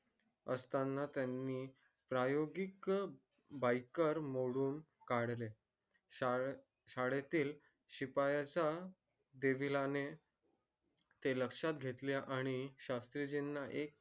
असतानी त्यानी प्रायोजिक म्हणून काढले शाळा शाळेतील शिपायांच्या हे लक्षात घेतले आणि शस्त्रीजींना हि